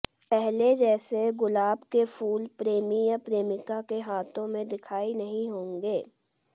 पहले जैसा गुलाब के फूल प्रेमी या प्रेमिका के हाथों में दिखाई नहीं होंगे